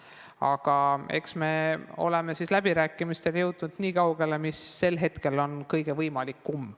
Aga eks me ole läbirääkimistega jõudnud nii kaugele, nagu hetkel on võimalik.